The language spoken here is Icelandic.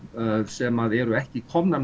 sem eru ekki komnar